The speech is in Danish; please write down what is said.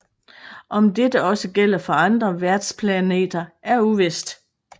Om dette også gælder på andre værtsplanter er uvist